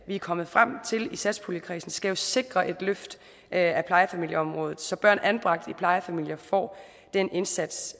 vi er kommet frem til i satspuljekredsen skal jo sikre et løft af plejefamilieområdet så børn anbragt i plejefamilier får den indsats